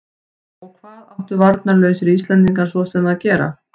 Og hvað áttu varnarlausir Íslendingar svo sem að gera?